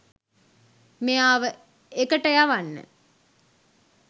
මෙයාව එකට යවන්න